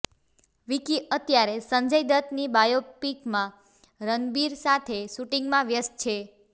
વીકિ અત્યારે સંજય દત્તની બાયોપિકમાં રણબીર સાથે શૂટિંગમાં વ્યક્ત છે